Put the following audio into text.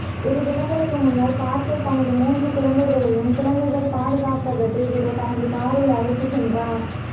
இரு தினங்களுக்கு முன்னர் பார்கர் தனது மூன்று குழந்தைகளையும் குழந்தைகள் பாதுகாப்பகத்தில் விட தனது காரில் அழைத்து சென்றார்